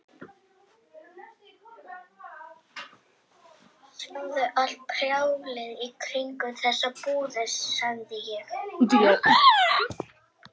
Hann seildist eftir henni og stakk fingrinum í lykkjuna.